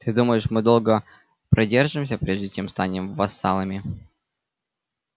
ты думаешь мы долго продержимся прежде чем станем вассалами